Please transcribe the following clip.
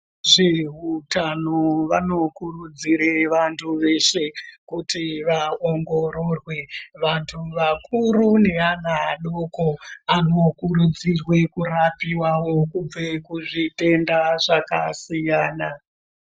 Zveutano vanokurudzire vantu zveshe kuti vaongororwe ,.vantu vakuru nevana vadoko anokurudzirwe kurapiwawo kubve kuzvitenda zvakasiyana.